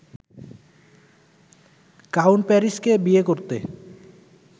count প্যারিসকে বিয়ে করতে